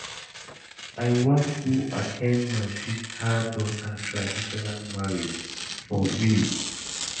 I wan go at ten d my sister daughter traditional marriage for village